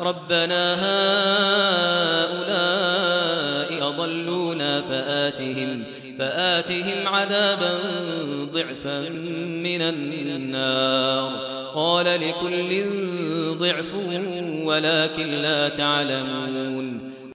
رَبَّنَا هَٰؤُلَاءِ أَضَلُّونَا فَآتِهِمْ عَذَابًا ضِعْفًا مِّنَ النَّارِ ۖ قَالَ لِكُلٍّ ضِعْفٌ وَلَٰكِن لَّا تَعْلَمُونَ